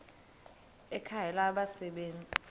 ekhangela abasebe nzi